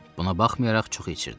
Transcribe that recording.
Buna baxmayaraq çox içirdi.